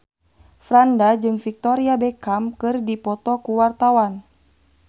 Franda jeung Victoria Beckham keur dipoto ku wartawan